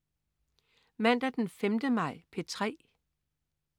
Mandag den 5. maj - P3: